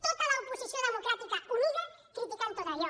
tota l’oposició democràtica unida criticant tot allò